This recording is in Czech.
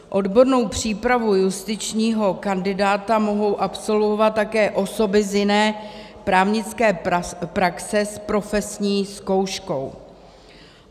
Odbornou přípravu justičního kandidáta mohou absolvovat také osoby z jiné právnické praxe s profesní zkouškou.